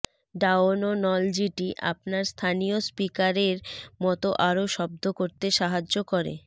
ডাওনোনোলজিটি আপনার স্থানীয় স্পিকারের মতো আরও শব্দ করতে সাহায্য করে